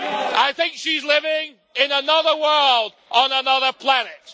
I think she's living in another world, on another planet.